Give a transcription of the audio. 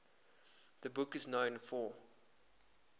the book is known for